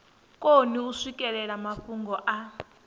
koni u swikelela mafhungo a